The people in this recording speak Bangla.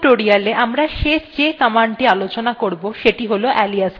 এই টিউটোরিয়ালwe আমরা the শেষ commandthe আলোচনা করবো সেটি হল alias command